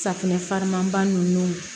Safunɛ farimaba ninnu